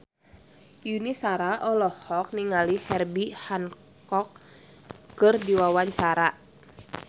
Yuni Shara olohok ningali Herbie Hancock keur diwawancara